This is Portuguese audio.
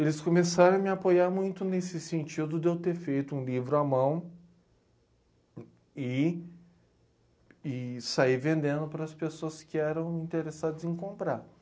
Eles começaram a me apoiar muito nesse sentido de eu ter feito um livro à mão e, e sair vendendo para as pessoas que eram interessadas em comprar.